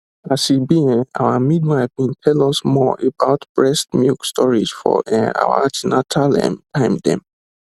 as e be[um]our midwife bin tell us more about breast milk storage for um our an ten atal ehm time dem